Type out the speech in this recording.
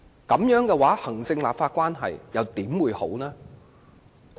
這樣的話，行政立法關係又怎會好？